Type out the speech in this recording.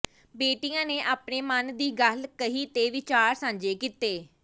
ਬੇਟੀਆਂ ਨੇ ਆਪਣੇ ਮਨ ਦੀ ਗੱਲ ਕਹੀ ਤੇ ਵਿਚਾਰ ਸਾਂਝੇ ਕੀਤੇ